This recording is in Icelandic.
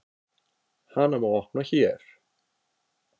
Hana má opna HÉR.